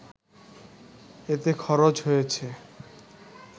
এতে খরচ হয়েছে